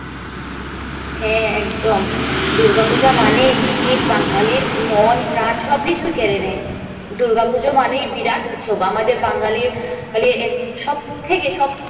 হ্যাঁ একদম দুর্গাপূজা মানে বাঙালির মণ প্রাণ সবকিছুই কেড়ে নেই দূর্গা পূজা মানে বিরাট উৎসব আমাদের বাঙালির সবথকে সবথকে